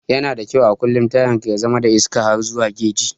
Yana da kyau a kullum tayan ka ya zama da iska har zuwa geji.